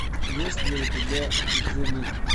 есть ли у тебя зелих